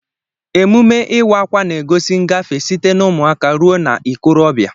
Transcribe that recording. Emume Ịwa akwa na-egosi ngafe site na ụmụaka ruo na okorobia.